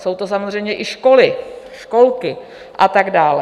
Jsou to samozřejmě i školy, školky a tak dál.